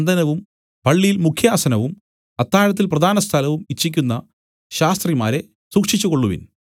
വന്ദനവും പള്ളിയിൽ മുഖ്യാസനവും അത്താഴത്തിൽ പ്രധാനസ്ഥലവും ഇച്ഛിക്കുന്ന ശാസ്ത്രിമാരെ സൂക്ഷിച്ചുകൊള്ളുവിൻ